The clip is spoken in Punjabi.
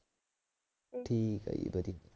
ਠੀਕ ਆ ਜੀ ਵਧੀਆ